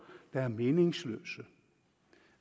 der er meningsløse